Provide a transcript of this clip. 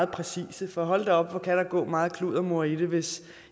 præcise for hold da op hvor kan der gå meget kluddermor i det hvis